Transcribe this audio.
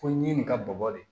Ko ɲi nin ka bɔgɔ de